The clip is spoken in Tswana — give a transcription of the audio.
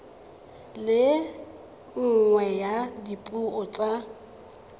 le nngwe ya dipuo tsa